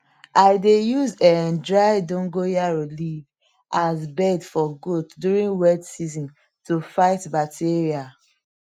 i dey use um dry dogonyaro leaf as bed for goat during wet season to fight bacteria